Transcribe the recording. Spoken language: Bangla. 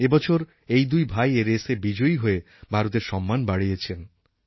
এই বছর এই দুই ভাই এই রেসে বিজয়ী হয়ে ভারতের সম্মান বাড়িয়েছেন